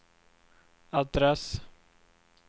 adress